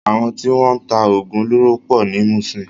Àwọn tí wọ́n ń ta oògùn olóró pọ̀ ní Muṣin.